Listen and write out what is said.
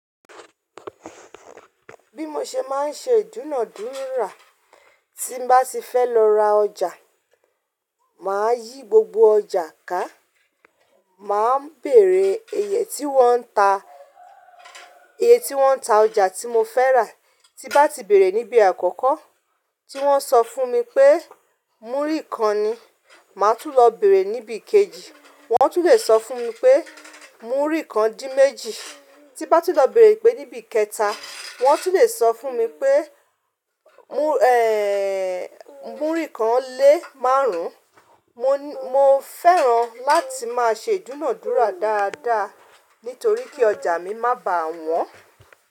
Bí mo ṣe máa ń ṣe ìdúnàdúrà tí bá ti fẹ́ lọ ra ọjà, màá yí gbogbo ọjà ká, màá bèrè iye tí wọ́n ń ta, iye tí wọ́n ń ta ọjà tí mo fẹ́ rà. Tí bá ti bèrè níbi àkọ́kọ́ tí wọ́n so fún mi pé múrí kan ni, màá tún lọ bèrè níbi kejì wọ́n tún lè sọ fún mi pé múrí kan dín méjì. Tí bá ti lọ bèrè pé níbi kẹta wọ́n tún lè sọ fún mi pé, múrí kan lé márùn. Mo, mo fẹ́ràn láti máa ṣe ìdúnádúrà dáadáa nítorí kí ọjà mi má bà wọ́n.